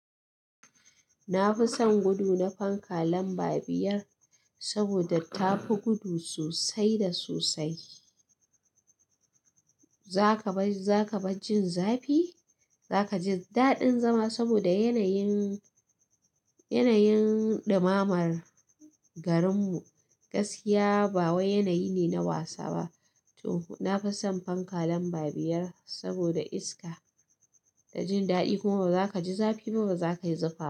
Na fi son gudu na fanka lamba biyar saboda ta fi gudu sosai da sosai. Za ka bar, za ka bar jin zafi? Za ka ji daɗin zama saboda yanayin, yanayin ɗimamar garin mu. Gaskiya ba wani yanayi ne na wasa ba. To na fi son fanka lamba biyar saboda iska da jin daɗi. Kuma ba za ka ji zafi ba kuma ba za ka yi zufa ba.